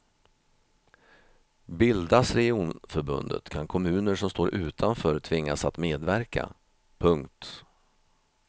Bildas regionförbundet kan kommuner som står utanför tvingas att medverka. punkt